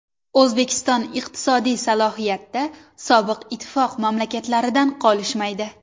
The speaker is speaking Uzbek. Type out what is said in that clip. O‘zbekiston iqtisodiy salohiyatda sobiq ittifoq mamlakatlaridan qolishmaydi.